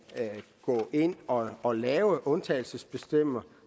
gå ind og og lave undtagelsesbestemmelser